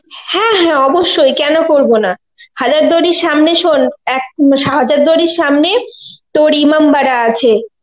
হ্যা হ্যা অবশ্যই কেন করব না, হাজারদুয়ারীর সামনে শোন এক~ হাজারদুয়ারীর সামনে তর ইমামবাড়া আছে,